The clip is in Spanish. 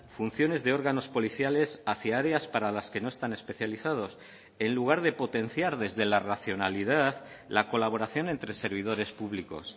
funciones de órganos policiales hacia áreas para las que no están especializados en lugar de potenciar desde la racionalidad la colaboración entre servidores públicos